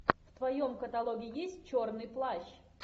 в твоем каталоге есть черный плащ